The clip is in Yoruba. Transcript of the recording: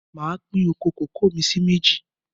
Máa pín oko kòkó mi sì méjì